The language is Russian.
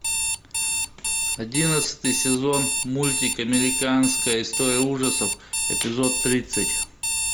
одиннадцатый сезон мультик американская история ужасов эпизод тридцать